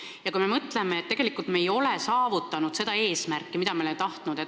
Ja kui me mõtleme selle eesmärgi peale, mida me oleme tahtnud saavutada, siis tegelikult ei ole see õnnestunud.